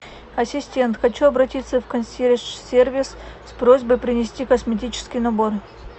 ассистент хочу обратиться в консьерж сервис с просьбой принести косметический набор